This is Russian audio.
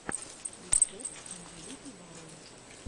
рецепт анжелики варум